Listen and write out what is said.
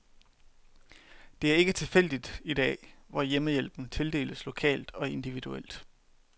Det er ikke tilfældet i dag, hvor hjemmehjælpen tildeles lokalt og individuelt.